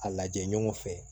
A lajɛ ɲɔgɔn fɛ